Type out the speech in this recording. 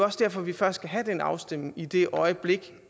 også derfor vi først skal have den afstemning i det øjeblik